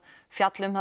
fjalla um